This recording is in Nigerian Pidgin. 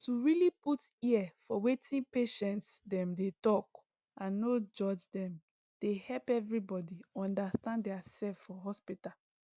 to really put ear for wetin patients dem dey talk and no judge dem dey help everybody understand their self for hospital